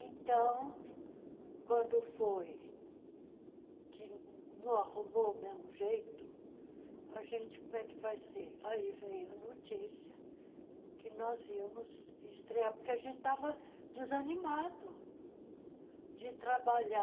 Então, quando foi que nã não arrumou o mesmo jeito a gente como é que vai ser, aí veio a notícia que nós íamos estrear, porque a gente estava desanimado de trabalhar